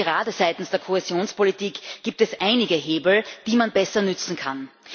Und gerade seitens der Kohäsionspolitik gibt es einige Hebel, die man besser nutzen kann.